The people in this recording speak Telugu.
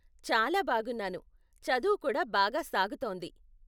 చాలా బాగున్నాను, చదువు కూడా బాగా సాగుతోంది.